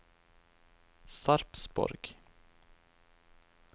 Sarpsborg